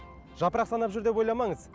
жапырақ санап жүр деп ойламаңыз